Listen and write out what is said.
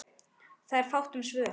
Það er fátt um svör.